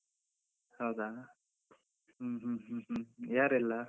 ಹೌದಾ, ಹ್ಮ್ ಹ್ಮ್ ಹ್ಮ್ ಹ್ಮ್, ಯಾರೆಲ್ಲ?